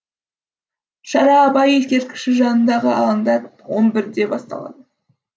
шара абай ескерткіші жанындағы алаңда он бірде басталады